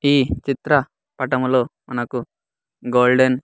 ఈ చిత్ర పటములో మనకు గోల్డెన్ --